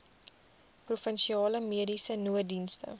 provinsiale mediese nooddienste